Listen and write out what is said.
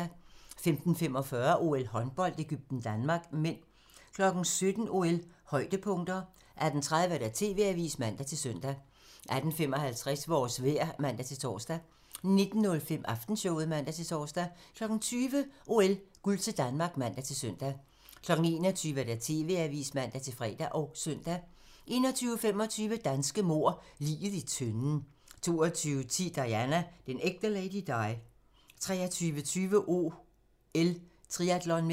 15:45: OL: Håndbold - Egypten-Danmark (m) 17:00: OL: Højdepunkter 18:30: TV-avisen (man-søn) 18:55: Vores vejr (man-tor) 19:05: Aftenshowet (man-tor) 20:00: OL: Guld til Danmark (man-søn) 21:00: TV-avisen (man-fre og søn) 21:25: Danske mord – Liget i tønden 22:10: Diana - den ægte Lady Di 23:20: OL: Triatlon (m)